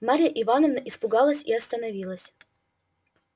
марья ивановна испугалась и остановилась